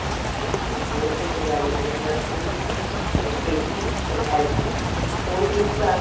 R ਜੇ ਉਹੀ ਤਾਂ ਗੱਲ ਹੰਦੀ ਹੈ nursery ਏ KG ਫਿਰ LKG ਉਹੀ ਤਿੰਨ ਸਾਲ